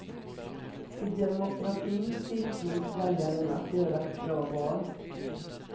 I demokratin tilltros väljaren att göra ett bra val.